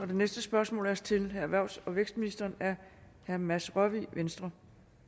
det næste spørgsmål er også til erhvervs og vækstministeren af herre mads rørvig venstre